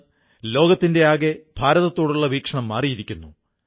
വളരെയധികം അമേരിക്കൻ യുവാക്കൾ ഞാണിൻമേൽകളി പഠിക്കുന്നു